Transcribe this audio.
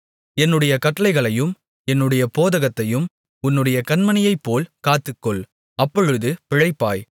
என்னுடைய கட்டளைகளையும் என்னுடைய போதகத்தையும் உன்னுடைய கண்மணியைப்போல் காத்துக்கொள் அப்பொழுது பிழைப்பாய்